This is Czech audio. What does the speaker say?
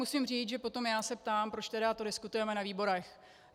Musím říct, že potom já se ptám, proč tedy to diskutujeme na výborech.